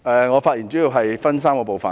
我的發言主要分3個部分。